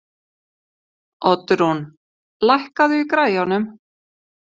Oddrún, lækkaðu í græjunum.